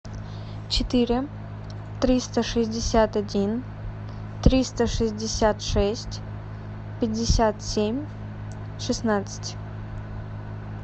четыре триста шестьдесят один триста шестьдесят шесть пятьдесят семь шестнадцать